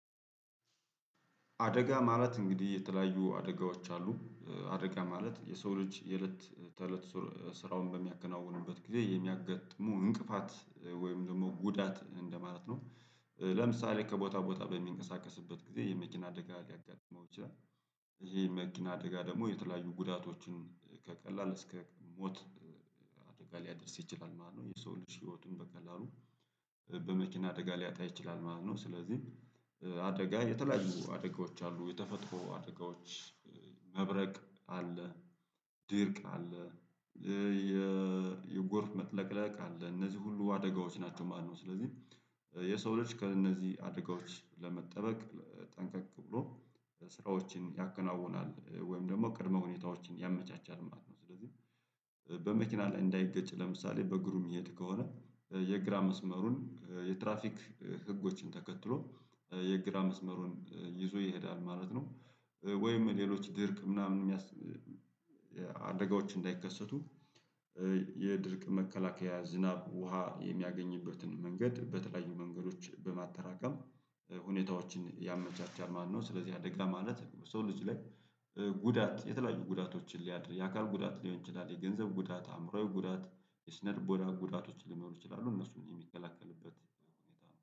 አደጋ ማለት እንግዲህ የተለያዩ አደጋዎች አሉ። አደጋ ማለት የሰው ልጅ የእለት ተእለት ስራውን በሚያከናውንበት ጊዜ የሚያጋጥሙ እንቅፋት ወይም ደግሞ ጉዳት እንደማለት ነው። ለምሳሌ ከቦታ ቦታ በሚንቀሳቀስበት ጊዜ የመኪና አደጋ ሊያጋጥመው ይችላል። ይሄ የመኪና አደጋ ደግሞ የተለያዩ ጉዳቶችን ከቀላል እስከ ሞት። አደጋ ሊያደርስ ይችላል ማለት ነው የሰው ልጅ ህይወቱን በቀላሉ በመኪና አደጋ ሊያጣ ይችላል ማለት ነው። ስለዚህ አደጋ የተለያዩ አደጋዎች አሉ የተፈጥሮ አደጋዎች። መብረቅ አለ ድርቅ አለ። የጎርፍ መጥለቅለቅ አለ እነዚህ ሁሉ አደጋዎች ናቸው። ማነው ስለዚህ የሰው ልጅ ከእነዚህ አድጋዎች ለመጠበቅ ጠንቀቅ ብሎ ስራዎችን ያከናውናል ወይም ደግሞ ቅድመ ሁኔታዎችን ያመቻቻል ማለት ነው። ስለዚህ በመኪና ላይ እንዳይገጭ ለምሳሌ በእግሩም የሚሄድ ከሆነ የግራ መስመሩን የትራፊክ ህጎችን ተከትሎ የግራ መስመሩን ይዞ ይሄዳል ማለት ነው። ወይም ሌሎች ድርቅ ምናምን የሚያስ አደጋዎች እንዳይከሰቱ የድርቅ መከላከያ ዝናብ ውሃ የሚያገኝበትን መንገድ በተለያዩ መንገዶች በማጠራቀም ሁኔታዎችን ያመቻቻል ማለት ነው። ስለዚህ አደጋ ማለት ሰው ልጅ ላይ ጉዳት የተለያዩ ጉዳቶችን ሊያድር የአካል ጉዳት ሊሆን ይችላል የገንዘብ ጉዳት አእምሮአዊ ጉዳት የስነልቦና ጉዳቶችን ሊኖሩ ይችላሉ እነሱን የሚከለክልበት ሁኔታ ነው